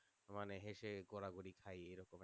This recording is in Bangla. মানে হয়েছে গড়াগড়ি খায় এরকম একটা